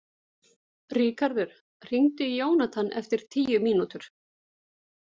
Ríkharður, hringdu í Jónathan eftir tíu mínútur.